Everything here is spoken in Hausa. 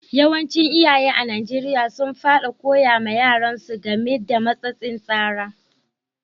Yawancin iyaye a'Nijeriya sun fadi koya ma yaran su game da matsatsin tsara.